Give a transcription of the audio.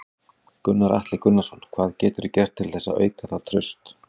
Gunnar Atli Gunnarsson: Hvað geturðu gert til þess að auka það traust?